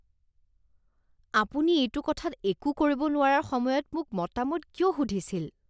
আপুনি এইটো কথাত একো কৰিব নোৱাৰাৰ সময়ত মোক মতামত কিয় সুধিছিল?